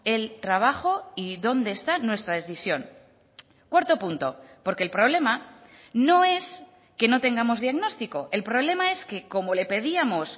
el trabajo y dónde está nuestra decisión cuarto punto porque el problema no es que no tengamos diagnóstico el problema es que como le pedíamos